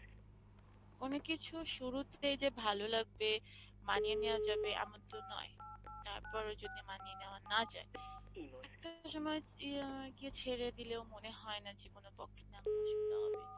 কোনো কিছুর শুরুতে যে ভালো লাগবে মানিয়ে নেওয়া যাবে এমন তো নয়, তারপরও যদি মানিয়ে নেওয়া না যায় একটা সময় ইয়ে গিয়ে ছেড়ে দিলেও মনে হয় না জীবনের পক্ষে অসুবিধা হবে।